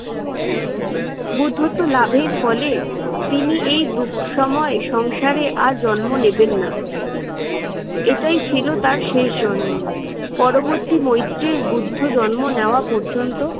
বুদ্ধত্ব লাভের ফলে তিনি এই দুঃসময়ে সংসারে আর জন্ম নেবেন না। এটাই ছিল তার শেষ জন্ম। পরবর্তী মৈত্রীর বুদ্ধ জন্ম নেওয়া পর্যন্ত